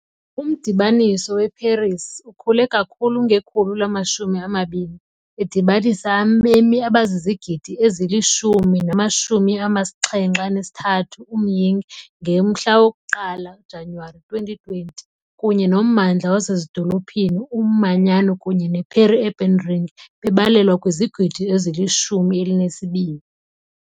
Umdibaniso weParis ukhule kakhulu ngekhulu lamashumi amabini, edibanisa abemi abazizigidi ezili-10.73 nge-1 Januwari 2020, kunye nommandla wasezidolophini, umanyano kunye ne-peri-urban ring, babalelwa kwizigidi ezili-12.